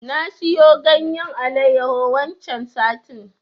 Na siyo ganyen Alayyahu waccen satin.